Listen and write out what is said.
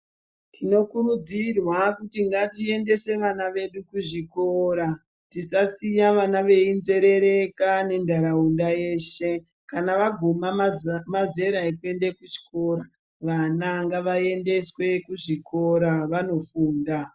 Tinokurudzirwa kuti ngatiendese vana vedu kuzvikora, tisasiye vana veinzerereka nentaraunda yeshe, kana vaguma mazera ekuenda ekuchikora vana ngavaendeswe kuzvikora vanofunda.